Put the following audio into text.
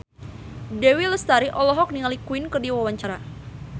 Dewi Lestari olohok ningali Queen keur diwawancara